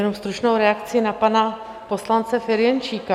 Jenom stručnou reakci na pana poslance Ferjenčíka.